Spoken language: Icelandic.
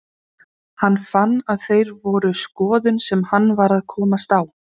Hann fann að þeir voru skoðun sem hann var að komast á.